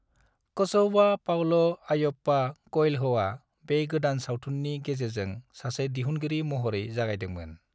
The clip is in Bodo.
कोचौवा पाउलो अयप्पा कोएल्होआ बे गोदान सावथुननि गेजेरजों सासे दिहुनगिरि महरै जागायदोंमोन।